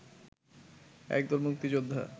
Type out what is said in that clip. এক দল মুক্তিযোদ্ধা